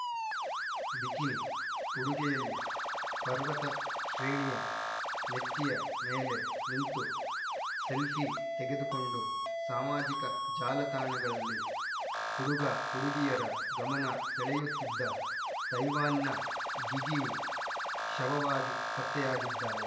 bikini ಉಡುಗೆಯಲ್ಲಿ ಪರ್ವತ ಶ್ರೇಣಿಯ ನೆತ್ತಿಯ ಮೇಲೆ ನಿಂತು ಸೆಲ್ಫೀ ತೆಗೆದುಕೊಂಡು ಸಾಮಾಜಿಕ ಜಾಲತಾಣಗಳಲ್ಲಿ ಹುಡುಗಹುಡುಗಿಯರ ಗಮನ ಸೆಳೆಯುತ್ತಿದ್ದ ತೈವಾನ್‌ನ ಗಿಗಿ ವು ಶವವಾಗಿ ಪತ್ತೆಯಾಗಿದ್ದಾಳೆ